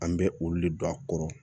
An bɛ olu le don a kɔrɔ